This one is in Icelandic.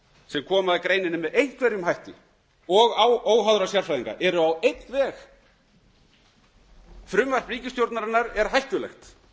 sem koma að greininni með einhverjum hætti og óháðra sérfræðinga eru á einn veg að frumvarp ríkisstjórnarinnar sé hættulegt